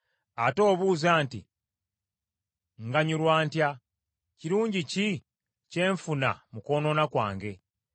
Ate obuuza nti, ‘Nganyulwa ntya?’ Kirungi ki kye nfuna mu kwonoona kwange?